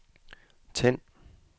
tænd